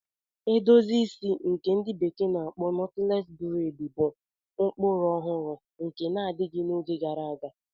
Edozi isi ndi bekee na-akpo Knotless braidi bụ ụkpụrụ ọhụrụ nke na-adịghị adị n'oge gara aga.